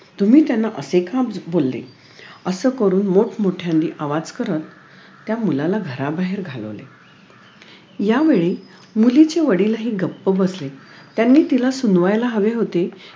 तुम्ही त्यांना असे का बोलले असं करून मोठमोठ्याने आवाज करत त्या मुलाला घराबाहेर घालवले यावेळी मुलीचे वडीलही गप्प बसले त्यांनी तिला सूनवायला हवे होते